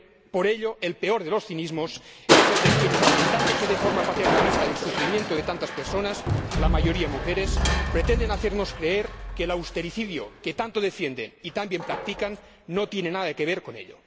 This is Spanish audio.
Por ello, el peor de los cinismos es el de quienes lamentándose de forma paternalista del sufrimiento de tantas personas, la mayoría mujeres, pretenden hacernos creer que el austericidio que tanto defienden y tan bien practican no tiene nada que ver con ello.